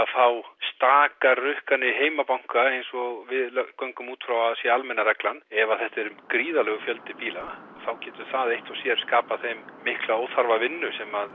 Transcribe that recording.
fá stakar rukkanir í heimabanka eins og við göngum út frá að sé almenna reglan ef þetta er gríðarlegur fjöldi bíla þá getur það eitt og sér skapað þeim mikla óþarfa vinnu sem